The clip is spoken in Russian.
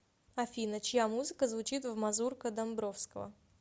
афина чья музыка звучит в мазурка домбровского